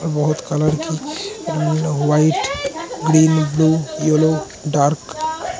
बहुत कलर की white green blue yellow dark --